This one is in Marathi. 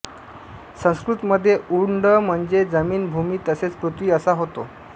संस्कृतमध्ये उंड म्हणजे जमीन भूमी तसेच पृथ्वी असा होतो